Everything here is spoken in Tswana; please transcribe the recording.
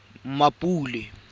mmapule